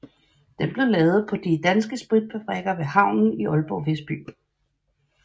Den blev lavet på De Danske Spritfabrikker ved havnen i Aalborg Vestby